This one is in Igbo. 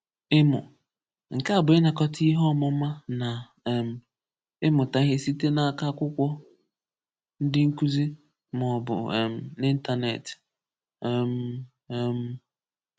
Ịmụ: Nke a bụ ịnakọta ihe ọmụma na um ịmụta ihe site n’aka akwụkwọ, ndị nkuzi, maọbụ um n'ịntanetị. um um